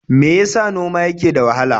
Me ya sa noma yake da wahala?